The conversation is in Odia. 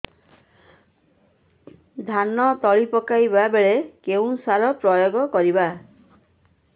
ଧାନ ତଳି ପକାଇବା ବେଳେ କେଉଁ ସାର ପ୍ରୟୋଗ କରିବା